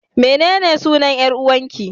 Menene sunan 'yar'uwarƙi?